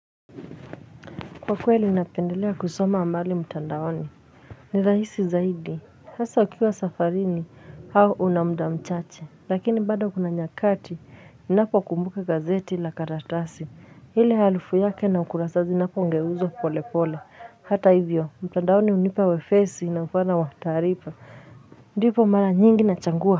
Kwa kweli napendelea kusoma amali mtandaoni ni raisi zaidi hasa ukiwa safarini hao unamda mchache lakini bada kuna nyakati ni napo kumbuka gazeti la karatasi hile halufu yake na ukurasazi napo ngeuzo pole pole hata hivyo mtandaoni unipa wefesi na mfana wataripa ndipo mara nyingi na changua.